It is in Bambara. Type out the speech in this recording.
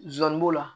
Zon b'o la